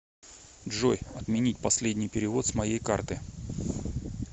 джой отменить последний перевод с моей карты